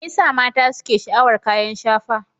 Me yasa mata suke sha'awar kayan shafa?